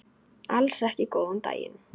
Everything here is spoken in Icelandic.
Alls ekki góðan daginn.